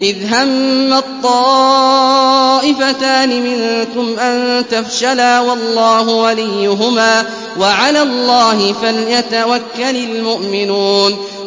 إِذْ هَمَّت طَّائِفَتَانِ مِنكُمْ أَن تَفْشَلَا وَاللَّهُ وَلِيُّهُمَا ۗ وَعَلَى اللَّهِ فَلْيَتَوَكَّلِ الْمُؤْمِنُونَ